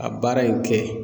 A baara in kɛ